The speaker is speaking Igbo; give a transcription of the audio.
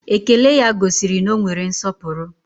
Ékélé ya gosiri na ọ nwere nsọpụrụ